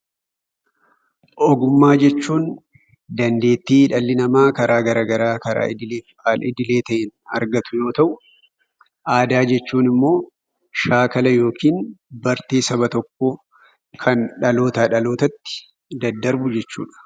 Ogummaa jechuun dandeettii dhalli namaa karaa garaagaraa karaa idilee al-idilee ta'een argatu yoo ta'u, aadaa jechuun immoo shaakala yookiin immoo bartee saba tokkoo kan dhalootaa dhalootatti daddarbu jechuudha.